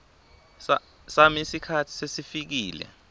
sami sikhatsi sesifikile